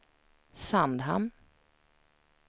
Sandhamn